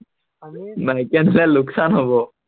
মাইকী আনিলে লোকচান হব।